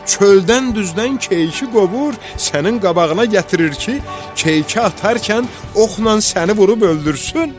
Çöldən düzdən keyiki qovur, sənin qabağına gətirir ki, keyiki atarkən oxla səni vurub öldürsün.